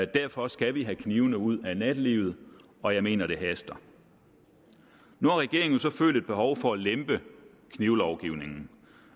derfor skal vi have knivene ud af nattelivet og jeg mener at det haster nu har regeringen så følt et behov for at lempe knivlovgivningen